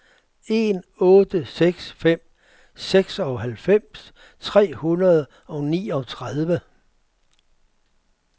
en otte seks fem seksoghalvfems tre hundrede og niogtredive